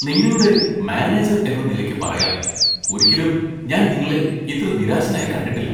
നിങ്ങളുടെ മാനേജർ എന്ന നിലയ്ക്ക് പറയാം, ഒരിക്കലും ഞാൻ നിങ്ങളെ ഇത്ര നിരാശനായി കണ്ടിട്ടില്ല.